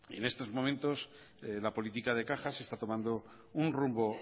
en estos momentos la política de cajas está tomando un rumbo